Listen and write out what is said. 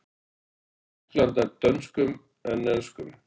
Tyrkland nær dönskum en enskum.